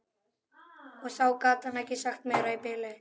Og þá gat hann ekki sagt meira í bili.